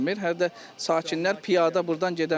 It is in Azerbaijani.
Hə də sakinlər piyada burdan gedə bilmir.